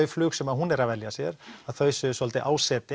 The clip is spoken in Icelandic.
flug sem hún er að velja sér að þau séu svolítið